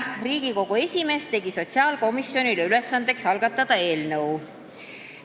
Riigikogu esimees tegi sotsiaalkomisjonile ülesandeks algatada eelnõu.